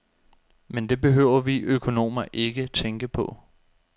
Men det behøver vi økonomer ikke tænke på.